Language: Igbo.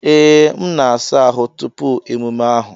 Ee, m na-asa ahụ́ tupu emume ahụ.